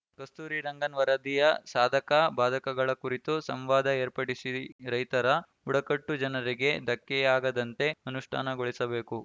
ಕಸ್ತೂರಿ ರಂಗನ್‌ ವರದಿಯ ಸಾಧಕ ಬಾಧಕಗಳ ಕುರಿತು ಸಂವಾದ ಏರ್ಪಡಿಸಿ ರೈತರ ಬುಡಕಟ್ಟು ಜನರಿಗೆ ಧಕ್ಕೆಯಾಗದಂತೆ ಅನುಷ್ಠಾನಗೊಳಿಸಬೇಕು